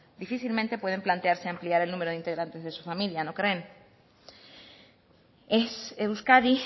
difícilmente pueden plantearse ampliar el número de integrantes de su familia no creen es euskadi